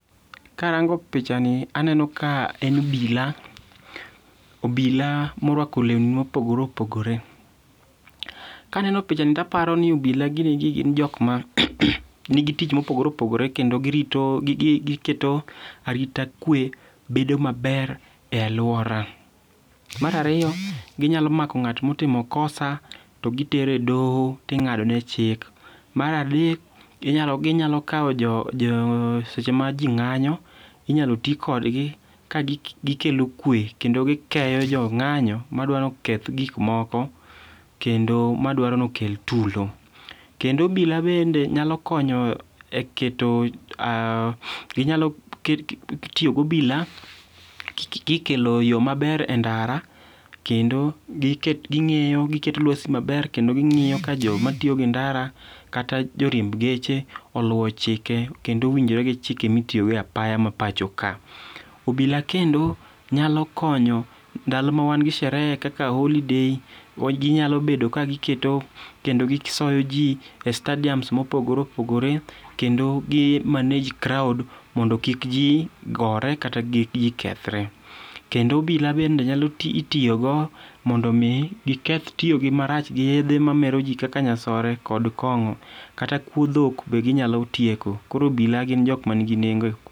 Karango pichani, aneno ka en obila, obila morwako lewni mopogore opogore. Kaneno pichani to aparo ni obila gini gi gin jok ma nigi tich mopogore opogore kendo giketo arita kwee bedo maber e alwora. Mar ariyo, ginyalo mako ng'at motimo kosa to gitere doho to ing'adone chik . Mar adek, ginyalo kawo jo, seche ma ji ng'anyo, inyalo tii kodgi ka gikelo kwee kendo gikeyo jong'anyo madwaro ni oketh gik moko kendo madwaro ni okel tulo. Kendo obila bende nyalo konyo e keto e , inyalo tiyo gi obila kikelo yoo maber e ndara, kendo giketo lwasi maber, kendo ging'iyo ka joma tiyo gi ndara kata joriemb geche oluwo chike kendo owinjore gi chike ma itiyogodo e apaya ma pachoka. Obila kendo nyalo konyo ndalo ma wan gi sherehe kaka holiday ginyalo bedo ka giketo kendo gisoyo ji e stadiums mopogoreopogore, kendo gi manage crowd mondo kik ji gore kata kik ji kethre. Kendo obila bende inyalo tiyo, itiyogo mondo mi giketh tiyogi marach gi yedhe mamero ji kaka nyasore kod kong'o. Kata kuo dhok be ginyalo tieko. Koro obila gin jok ma nigi nengo.